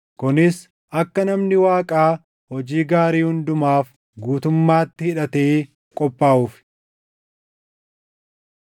kunis akka namni Waaqaa hojii gaarii hundumaaf guutummaatti hidhatee qophaaʼuuf.